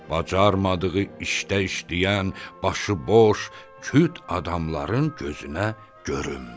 Bacarmadığı işdə işləyən, başı boş, küt adamların gözünə görünmür.